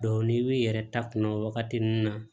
n'i b'i yɛrɛ ta kunna waagati min na